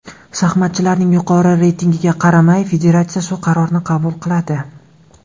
Shaxmatchilarning yuqori reytingiga qaramay federatsiya shu qarorni qabul qiladi.